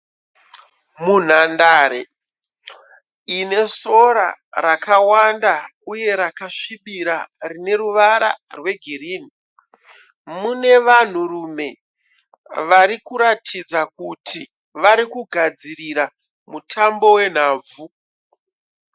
Munhandare ine sora rakawandauye rakasvibira rine ruvara rwegirini mune vanhurume vari kutatidza kuti kugadzirira mutambo wenhabvu.